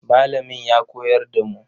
Malamin ya koyar da mu.